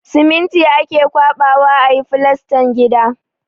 Siminti ake ƙwaɓawa a yi filastan gida.